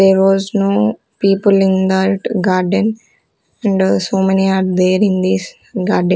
there was no people in that garden in the so many are there in this garden.